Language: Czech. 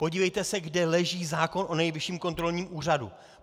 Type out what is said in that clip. Podívejte se, kde leží zákon o Nejvyšším kontrolním úřadu.